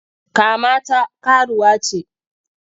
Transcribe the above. Kama ta karuwa ce!